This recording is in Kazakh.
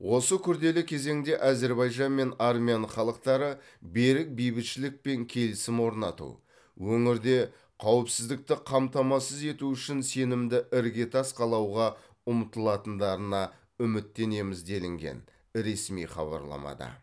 осы күрделі кезеңде әзербайжан мен армян халықтары берік бейбітшілік пен келісім орнату өңірде қауіпсіздікті қамтамасыз ету үшін сенімді іргетас қалауға ұмтылатындарына үміттенеміз делінген ресми хабарламада